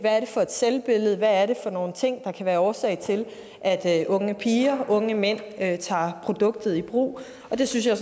for et selvbillede hvad er det for nogle ting der kan være årsag til at unge piger og unge mænd tager produktet i brug det synes jeg